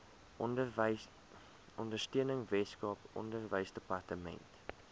ondersteuning weskaap onderwysdepartement